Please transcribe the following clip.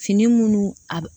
Fini minnu a